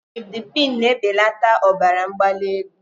Nifedipine na-ebelata ọbara mgbali elu.